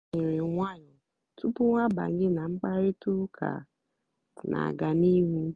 há lèrè nwàyọ́ túpú há àbányé nà mkpàrị́tà ụ́ká nà-àgá n'íhú.